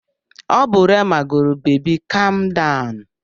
Ọ bụ Rema gụrụ Beebi Kam Dawụnụ.